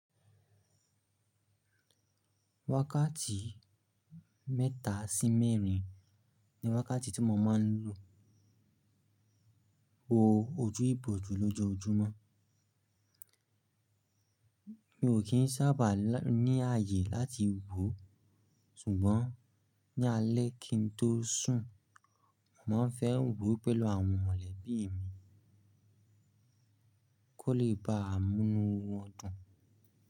Wákàtí mẹ́ta sí mẹ́rin ni wákàtí tí mo máa ń lò wò ojú ìbò jù lọ́jọ́ ojúmọ́. Mi ò kín sábà ní ààyè láti wò, ṣùgbọ́n ní alẹ́ kí n tó sùn, mo má ń fẹ́ wò pẹ̀lú àwọn mọ̀lẹ́bí mi kó lè bá a múnu wọn dùn.